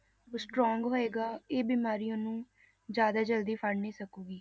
ਉਹ strong ਹੋਏਗਾ ਇਹ ਬਿਮਾਰੀ ਉਹਨੂੰ ਜ਼ਿਆਦਾ ਜ਼ਲਦੀ ਫੜ ਨਹੀਂ ਸਕੇਗੀ।